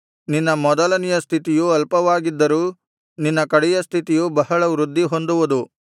ನಿನ್ನ ಮೊದಲನೆಯ ಸ್ಥಿತಿಯು ಅಲ್ಪವಾಗಿದ್ದರೂ ನಿನ್ನ ಕಡೆಯ ಸ್ಥಿತಿಯು ಬಹಳ ವೃದ್ಧಿಹೊಂದುವುದು